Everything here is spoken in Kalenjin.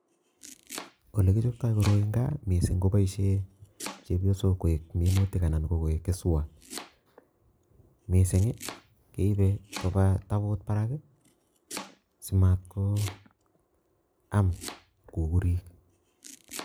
Olekichoptoi koroi en gaa sikochopen chepyoosok koik minutik anan ko keswot, missing I keibe koba taboot barak ii, simatkoam kukuurik